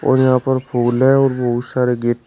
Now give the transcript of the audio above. और यहां पर फूल है और बहुत सारे गेट --